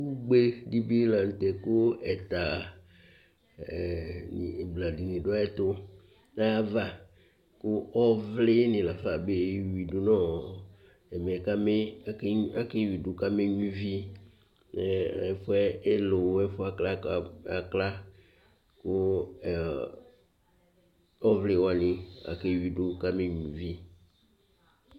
Ʋgbe di bi la ntɛ kʋ ɛta ʋbla dìní du ayʋɛtu nʋ ayʋ ava kʋ ɔvli ni lafa kewidu kama nyʋa íví Ɛfʋɛ elowo, ɛfʋɛ akla kʋ ɔvli wani kewidu kama nyʋa ívì